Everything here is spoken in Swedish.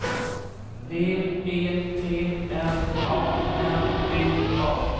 V E T L A N D A